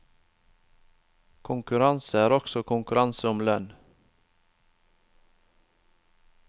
Konkurranse er også konkurranse om lønn.